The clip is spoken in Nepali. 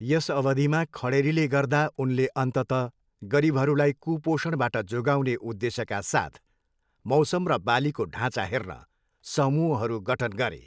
यस अवधिमा खडेरीले गर्दा उनले अन्ततः गरिबहरूलाई कुपोषणबाट जोगाउने उद्देश्यका साथ मौसम र बालीको ढाँचा हेर्न समूहहरू गठन गरे।